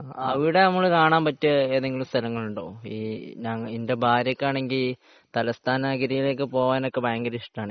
അവിടെ നമ്മക്ക് കാണാൻ പറ്റിയ ഏതെങ്കിലും സ്ഥലങ്ങളുണ്ടോ എന്റെ ഭാര്യക്കാണെങ്കിൽ തലസ്ഥാന നഗരിയിലേക്ക് ഒക്കെ പോകാൻ ഭയങ്കര ഇഷ്ടാണ്